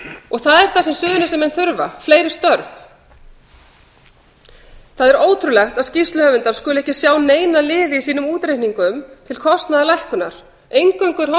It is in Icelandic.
og það er það sem suðurnesjamenn þurfa fleiri störf það er ótrúlegt að skýrsluhöfundar skuli ekki sjá neina liði í sínum útreikningum til kostnaðarlækkunar eingöngu er horft